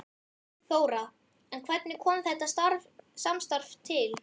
Þóra: En hvernig kom þetta samstarf til?